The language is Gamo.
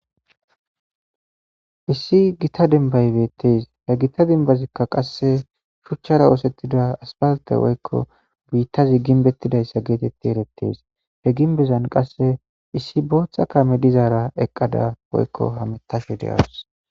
Issi gita dembay betes he gita dembazika qase shuchara osetida asfalte woyko bitazi gimbetizaysa geteti eretes he gimbezan qase issi bota kame dizara eqada woyko hametashe de'awus.